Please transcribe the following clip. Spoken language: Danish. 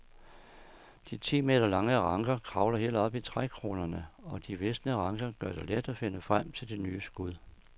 De ti meter lange ranker kravler helt op i trækronerne og de visne ranker gør det let at finde frem til de nye skud.